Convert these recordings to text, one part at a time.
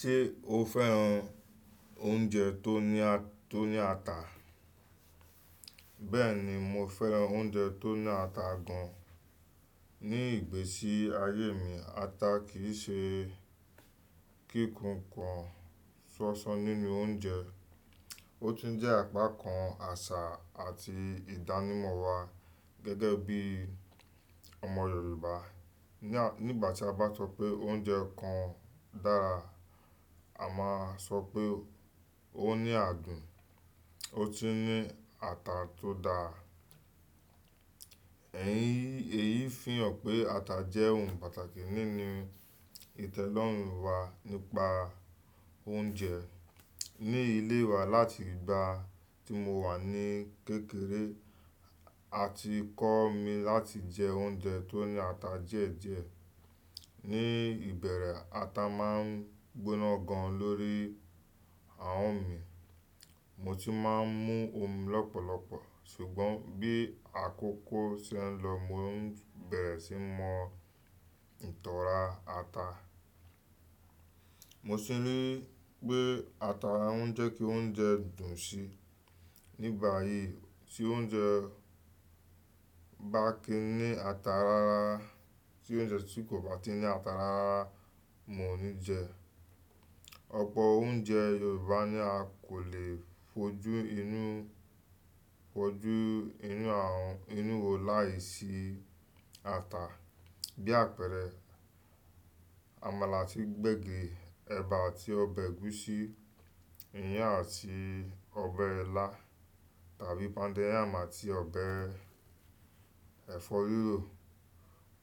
Ṣé o féràn oúnjẹ tó ní ata? Bẹ́ẹ̀ni, mo féràn oúnjẹ tó ní ata gan. Ni ìgbésí ayé mi, ata kìí ṣe kí kù kan sọsọ nínú oúnjẹ; ó tún jẹ́ àpá kan àṣà àti ìdánimọ̀ wa gẹ́gẹ́ bí ọmọ Yorùbá. Nígbà tí a bá sọ pé oúnjẹ kan dára, a máa sọ pé ó ní adùn, ó tún ní ata tó dáa. Èyí fihàn pé ata jẹ́ ohun pàtàkì nínú ìtẹ́lọ́rùn wa nípa oúnjẹ. Ni ilé wa, láti ìgbà tí mo wà ní kékeré, a ti kọ́ mi láti jẹ oúnjẹ tó ní ata díẹ̀díẹ̀. Ni ìbẹ̀rẹ̀, ata máa ń gbóná gan lórí ahọn mi, mo tún máa ń mú òmi lọ́pọ̀lọpọ̀. Ṣùgbọ́n bí àkókò ṣe ń lọ, mo ń bẹ̀rẹ̀ síi mọ ìtọ́ra ata. Mo sì ní pé ata ń jẹ́ kí oúnjẹ dùn síi. Nígbà yí tí oúnjẹ bá kí i ní ata rárá, tí oúnjẹ tí kò bá ti ní ata rárá, mo ní jẹ. Ọ̀pọ̀ oúnjẹ Yorùbá ni a kò lè fojú inú, fojú inú àwọn inu wo láìsí ata. Bí àpẹẹrẹ, àmàlà àti gbẹ́gìri, ẹ̀bà àti ọbẹ̀ ẹ̀gúsí, iyán àti ọbẹ̀ ilá tàbí póúndó iyàn àti ọbẹ̀ ẹ̀fọ́ rírò.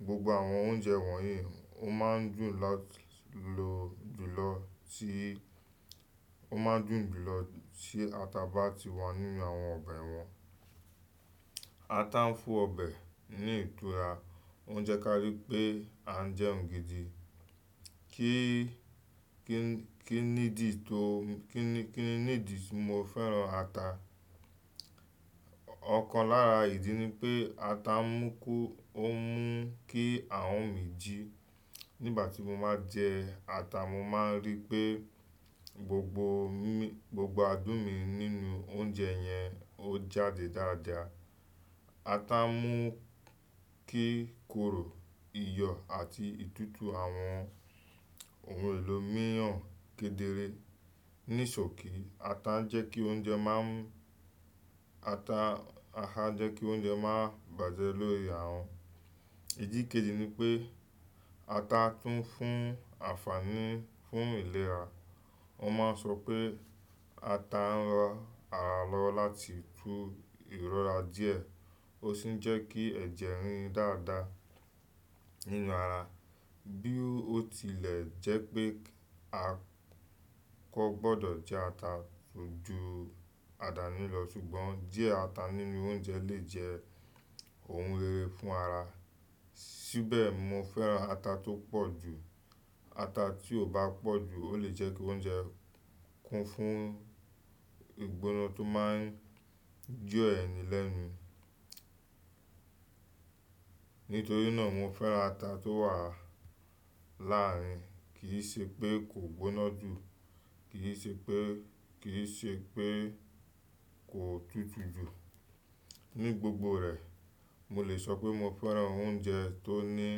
Gbogbo àwọn oúnjẹ wọ̀nyí ó máa ń dùn lati lo ún jùlọ tí ata bá ti wà nínú àwọn ọbẹ̀ wọn. Ata ń fún ọbẹ̀ ní ìtura, ó ń jẹ́ ká ri pé a ń jẹ́ òun gidi. Kí nídìí ti mo féràn ata? Ọ̀kan lára ìdí ni pé ata mú ku, on mu kí ahọn mi jí. Nígbà tí mo má jẹ ata, mo máa ń rí pé gbogbo mimi, gbogbo adùn mi nínú oúnjẹ yẹn ó jáde dáadáa. Ata mú kí kóró, iyọ̀ àti ìtútù àwọn ohun èlò míìran kedere. Nísòkí, ata n jẹ́ kí oúnjẹ má n, ata n jẹ́ kí oúnjẹ má bàjẹ́ lórí ahọn. Ìdí kejì ni pé ata tún fún àfààní fún ìlera. Wọ́n máa ń sọ pé ata ń ran ara lọ́wọ́ láti tú ìrora díẹ̀, ó sì ń jẹ́ kí ẹ̀jẹ̀ rìn dáadáa nínú ara. Bí ó tilẹ̀ jẹ́ pé a kọ gbọdọ̀ jẹ ata ju àdáni lọ, ṣùgbọ́n díẹ̀ ata nínú oúnjẹ lè jẹ́ ohun rere fún ara. Síbẹ̀, mo féràn ata tó pọ̀jù. Ata tí ò bá pọ̀jù ó lè jẹ́ kí oúnjẹ kún fún ìgbóná tó máa ń jo ẹ̀ni lẹ́nu. Nítorí náà, mo féràn ata tó wà láàrin, kì í se pé kò gbóná jù, kì í se pé kì í se pé kò tútù jù. Ní gbogbo rẹ̀, mo lè sọ pé mo féràn oúnjẹ tó ní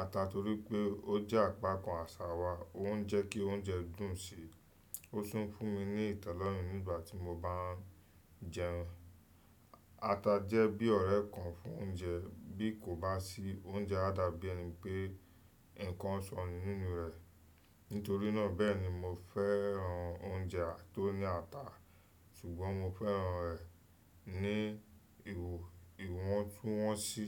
ata torí pé ó jẹ́ àpá kan àṣà wa, ó ń jẹ́ kí oúnjẹ dùn sí i, ó su ń fún mi ní ìtẹ́lọ́rùn nígbà tí mo bá ń jẹ́un. A Ata jẹ́ bí ọ̀rẹ́ kan fún oúnjẹ. Bí kò bá sí, oúnjẹ á dàbí ẹni pé nǹkan ṣọnù nínú rẹ̀. Nítorí náà bẹ́ẹ̀ ni mo féràn oúnjẹ tó ní ata, ṣùgbọ́n mo féràn rẹ̀ ní iwo, ìwọ̀ntúnwọ̀nsí.